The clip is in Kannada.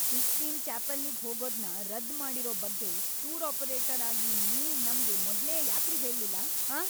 ಸಿಸ್ಟೀನ್ ಚಾಪೆಲ್ಲಿಗ್ ಹೋಗೋದ್ನ ರದ್ದ್‌ ಮಾಡಿರೋ ಬಗ್ಗೆ ಟೂರ್ ಆಪರೇಟರ್ ಆಗಿ ನೀವ್ ನಮ್ಗೆ ಮೊದ್ಲೇ ಯಾಕ್ರಿ ಹೇಳ್ಲಿಲ್ಲ, ಆಂ?!